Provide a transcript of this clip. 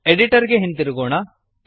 editor ಗೆ ಹಿಂತಿರುಗೋಣ